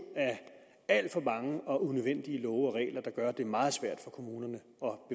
af alt for mange og unødvendige love og regler der gør at det er meget svært for kommunerne